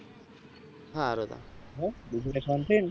હારું તા હા બીજું કઈ શાંતિ ને